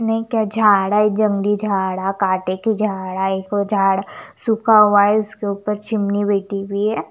नई क्या झाड़ा है जंगली झाड़ा काटे के झाड़ा हैं इसको झाड़ सूखा हुआ है इसके ऊपर चिमनी बैठी हुई है।